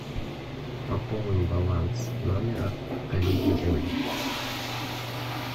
пополни баланс номера коллеги оли